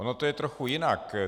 Ono to je trochu jinak.